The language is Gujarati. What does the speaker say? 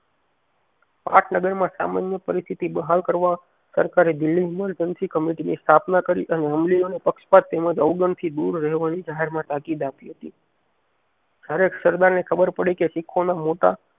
પાટનગર માં સામાન્ય પરિસ્થિતિ બહાલ કરવા સરકારે દિલ્લી અમલ કમિટી ની સ્થાપના કરી અને અમલીઓને પક્ષપાત તેમજ અવગણ થી દૂર રહેવાની જાહેરમાં તાકીદ આપી હતી જયારે સરદાર ને ખબર પડી કે શીખો ને મોટા